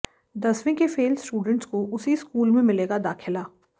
दसवीं के fail students को उसी स्कूल में मिलेगा दाखिला